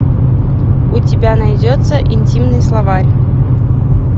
у тебя найдется интимный словарь